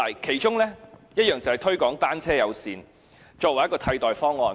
其中一項措施就是推廣單車友善政策，作為一個替代方案。